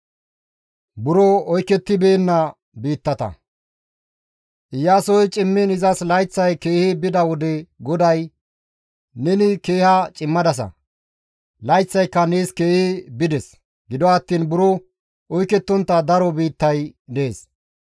Iyaasoy cimmiin izas layththay keehi bida wode GODAY, «Neni keeha cimadasa; layththayka nees keehi bides; gido attiin buro oykettontta daro biittay dees.